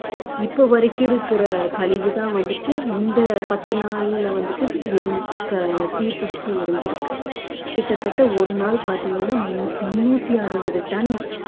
இப்ப வரைக்கும் இருக்கிற கழிவுதான் வந்துட்டு இந்த பத்து நாள்ல வந்துட்டு எரிஞ்~ க~ தீப்பிடிச்சு எரிஞ்சிருக்கு கிட்டத்தட்ட ஒரு நாள் பார்த்தீங்கன்னா மு~ முன்னூத்தி அறுபது டன்